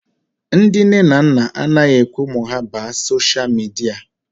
Ndị nne na nna anaghị ekwe ụmụ ha baa sosha midia.